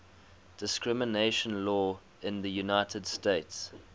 discrimination law in the united states